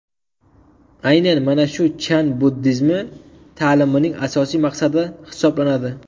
Aynan mana shu Chan buddizmi ta’limining asosiy maqsadi hisoblanadi.